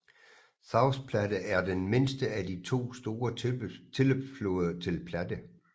South Platte er den mindste af de to store tilløbsfloder til Platte